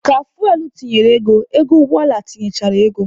Ka fuwel tinyere ego, ego ụgbọ ala tinyechaa ego.